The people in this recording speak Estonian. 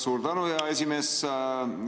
Suur tänu, hea esimees!